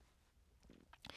DR2